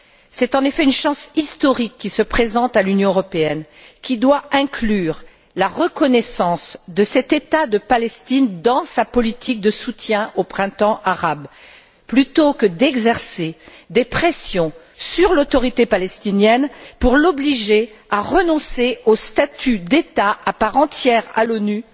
C'est en effet une chance historique qui se présente à l'Union européenne, qui doit inclure la reconnaissance de cet État palestinien dans sa politique de soutien au printemps arabe, plutôt que d'exercer des pressions sur l'Autorité palestinienne pour l'obliger à renoncer au statut d'État à part entière à l'ONU,